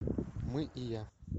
мы и я